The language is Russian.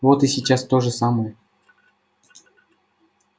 вот и сейчас то же самое